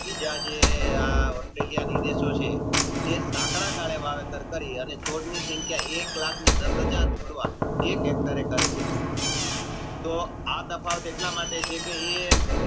બીજા જે ઓસ્ટ્રેલિયાને દેશો છે એ સંકળા ગાલે એ એક Hector એ કરે છે તો આ તફાવત એટલે છે કે